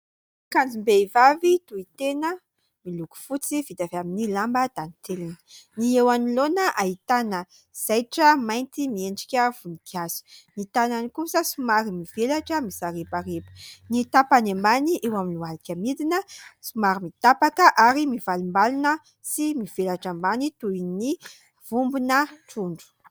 Akanjom-behivavy tohy tena miloko fotsy vita amin'ny lamba dantelina. Ny eo anoloana dia ahitana zaitra mainty miendrika voninkazo, ny tanan'ny kosa somary mivelatra mizarebareba, ny tapany ambany eo amin'ny lohalika midina somary mitapaka ary mivalimbalina sy mivelatra ambany toy ny vombona trondro.